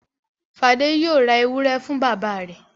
Fadé yóò ra ewúrẹ́ fún bàbá rẹ̀.